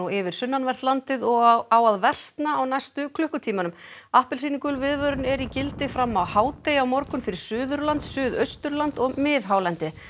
yfir sunnanvert landið og á að versna á næstu klukkutímunum appelsínugul viðvörun er í gildi fram á hádegi á morgun fyrir Suðurland Suðausturland og miðhálendið